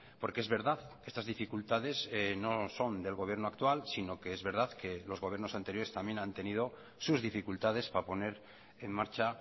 porque es verdad estas dificultades no son del gobierno actual sino que es verdad que los gobiernos anteriores también han tenido sus dificultades para poner en marcha